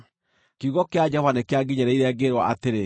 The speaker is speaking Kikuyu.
Kiugo kĩa Jehova nĩkĩanginyĩrĩire, ngĩĩrwo atĩrĩ: